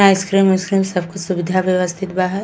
Ice cream उसक्रीम सब कुछ सुविधा व्यवस्थित बा है।